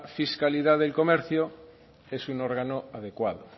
fiscalidad del comercio que es un órgano adecuado